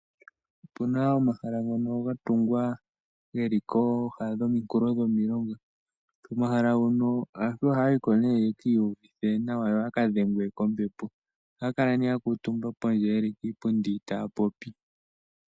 Opuna omahala ngono gatungwa geli kooha dhomikulo dhomilonga, omahala hono aantu ohayiko nee yekiyuvithe nawa, yoya kadhengwe kombepo. Ohaya kala nee yakutumba pondje yeli piipundi taya popi.